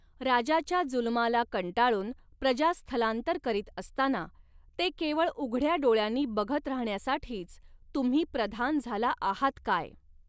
राजाच्या जुलमाला कंटाळून प्रजा स्थलांतर करीत असताना, ते केवळ उघडया डोळ्यांनी बघत राहण्यासाठीच तुम्ही प्रधान झाला आहात काय.